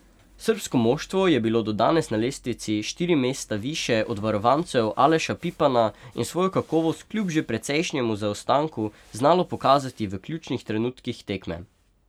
Srbsko moštvo je bilo do danes na lestvici štiri mesta više od varovancev Aleša Pipana in svojo kakovost kljub že precejšnjemu zaostanku znalo pokazati v ključnih trenutkih tekme.